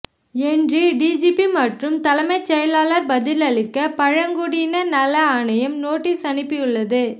என்று டிஜிபி மற்றும் தலைமைச் செயலாளர் பதிலளிக்க பழங்குடியினர் நல ஆணையம் நோட்டீஸ் அனுப்பியுள்ளது